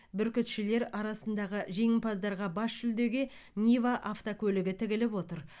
бүркітшілер арасындағы жеңімпаздарға бас жүлдеге нива автокөлігі тігіліп отыр